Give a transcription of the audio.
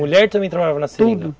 Mulher também trabalhava na seringa? Tudo.